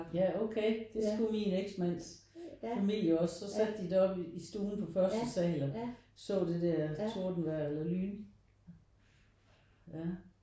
Ja okay det skulle min eksmands familie også så satte de deroppe i stuen på første sal og så det der tordenvejr eller lyn ja